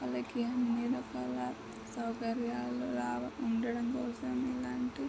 మనకి అన్ని రకాల సౌకర్యాలు రా ఉండడం కోసం ఇలాంటి--